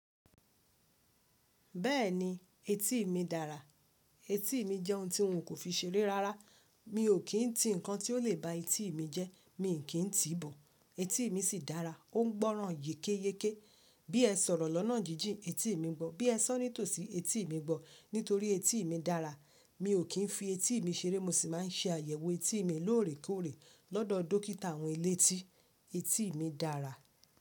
Bẹ́ẹ̀ni, etí mi dára. Etí mi jẹ́ ohun tí n ò ko n fi ṣeré rárá. Mi ò kí ń tí nǹkan tí ó lè ba etí mi jẹ́. Mi n kí ń tìí bọ̀, etí mi sì dára. Ó ń gbọ́ràn yékéyéké. Bí ẹ sọ̀rọ̀ lọ́nà jíjìn, etí mi gbọ́. Bí ẹ sọ nítòsí etí mi gbọ́. Nítorí etí mi dára. Mi ò kí ń fi etí mi ṣeré. Mo sì máa ń ṣe àyẹ̀wò etí mi lóòrèkóòrè lọ́dọ̀ dókítà àwọn elétí. Etí mi dára.